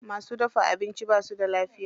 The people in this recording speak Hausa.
Masu dafa abincin basu da lafiya.